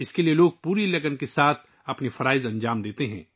اس کے لیے لوگ پوری لگن کے ساتھ اپنے فرائض انجام دیتے ہیں